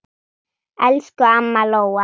Elsku amma Lóa.